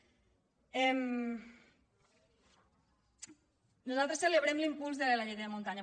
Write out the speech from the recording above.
nosaltres celebrem l’impuls de la llei de muntanya